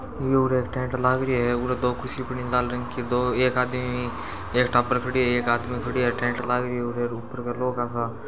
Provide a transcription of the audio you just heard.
यूरे एक टेंट लागरियो है उरे दो कुर्सी पड़ी लाल रंग की दो एक आदमी एक टाबर पड़ियो हैएक हाथ में खडियो टेंट लागरियो है --